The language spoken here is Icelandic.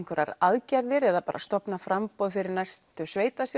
aðgerðir eða bara stofna framboð fyrir næstu